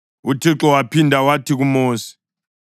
UThixo waphinda wathi kuMosi,